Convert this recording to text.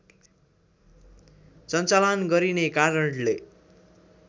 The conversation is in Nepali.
सञ्चालन गरिने कारणले